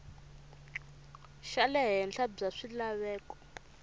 xa le henhla bya swilaveko